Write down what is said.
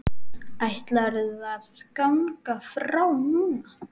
Ætlarðu að ganga frá núna?